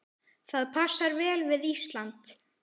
Það passar vel við Ísland.